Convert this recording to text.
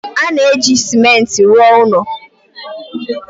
. A na-eji ciment rụọ ụlọ.